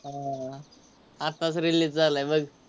आह आत्ताच release झालाय बघ.